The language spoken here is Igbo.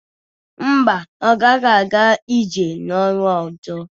Mba, ọ gaghị aga ije n'ọnwa ọzọ.